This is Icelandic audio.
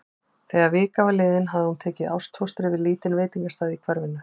Þegar vika var liðin hafði hún tekið ástfóstri við lítinn veitingastað í hverfinu.